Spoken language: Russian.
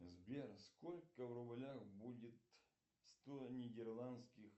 сбер сколько в рублях будет сто нидерландских